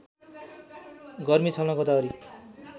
गर्मी छल्न गोदावरी